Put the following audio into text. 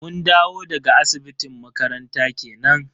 Mun dawo daga asibitin makaranta kenan.